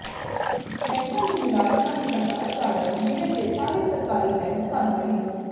ਬੈਂਕਾਂ ਦੇ ਮੁਲਾਜ਼ਮਾਂ ਦੀ ਹੜਤਾਲ ਕਾਰਨ ਜ਼ਿਲ੍ਹੇ ਦੇ ਸਾਰੇ ਸਰਕਾਰੀ ਬੈਂਕ ਬੰਦ ਰਹੇ